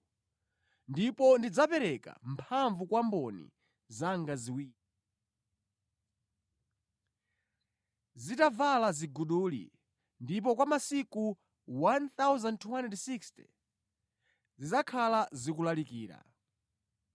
Ndipo ndidzapereka mphamvu kwa mboni zanga ziwiri, zitavala ziguduli, ndipo kwa masiku 1,260 zidzakhala zikulalikira.”